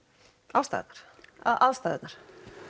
aðstæðurnar aðstæðurnar